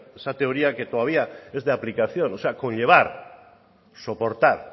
esa teoría que todavía es de aplicación o sea conllevar soportar